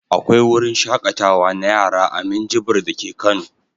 Akwai wruin shaƙatawa na yara a Minjibir dake Kano.